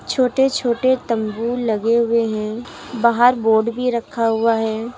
छोटे छोटे तंबू लगे हुए हैं बाहर बोर्ड भी रखा हुआ है।